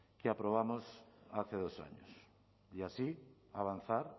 que aprobamos hace dos años y así avanzar